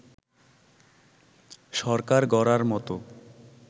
সরকার গড়ার মতো